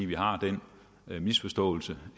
vi har lagt den misforståelse